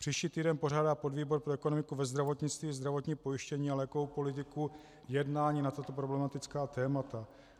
Příští týden pořádá podvýbor pro ekonomiku ve zdravotnictví, zdravotní pojištění a lékovou politiku jednání na tato problematická témata.